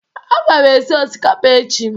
A ga m esi osikapa echi